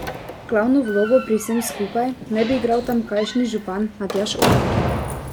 Glavno vlogo pri vsem skupaj naj bi igral tamkajšnji župan Matjaž Orter.